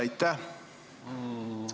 Aitäh!